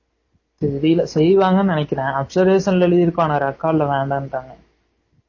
தெறியல செய்வாங்கனு நினைக்குறேன் observation ல எழுதி இருக்கும் ஆனா record ல வேணாம்டாங்க